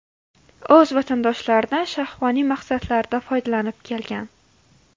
O‘z vatandoshlaridan shahvoniy maqsadlarda foydalanib kelgan.